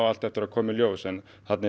allt eftir að koma í ljós þarna er